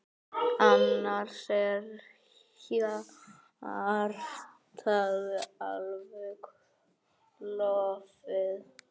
Annars er hjartað alveg klofið.